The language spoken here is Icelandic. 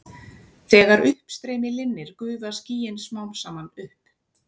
Þegar uppstreymi linnir gufa skýin smám saman upp.